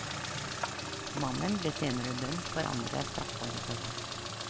Mannen ble senere dømt for andre straffbare forhold.